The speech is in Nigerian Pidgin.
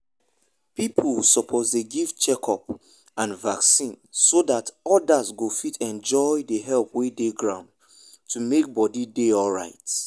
people suppose dey give check up and vaccine so that others go fit enjoy the help wey dey ground to make body dey alright.